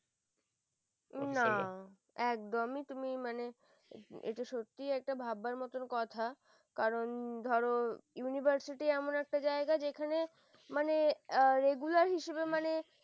না একদমই তুমি মানে এটা সত্যিই এটা ভাবার মত কথা কারণ ধরনয়ার university এমন একটা জায়গা যেখানে মানে regular হিসাবে মানে